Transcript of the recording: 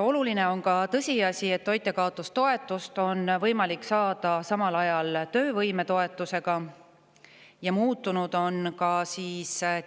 Oluline on ka tõsiasi, et toitjakaotustoetust on võimalik saada samal ajal töövõimetoetusega ja muutunud on ka